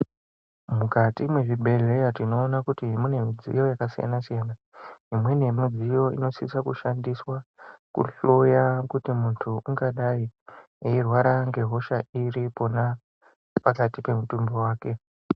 Mukati mezvibhedheya tinoona kuti mune midziyo yakasiyana siyana imweni yemidziyo inosisa kushandiswa kuhloya kuti muntu ungadai eirwara ngehosha iri pona pakati pemutumbi wake.